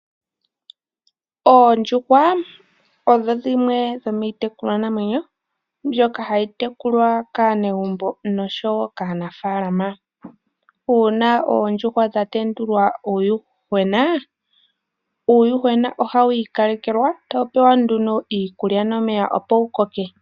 Oondjuhwa odho dhimwe dhomiitekulwa namwenyo mbyoka hayi tekulwa kaanegumbo nokaanafalama. Uuna oondjuhwa dha tendula uuyuhwena, uuyuhwena oha wi ikalekelwa etawu pewa iikulya nomeya opo wu koke.